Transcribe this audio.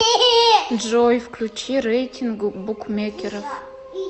джой включи рейтинг букмекеров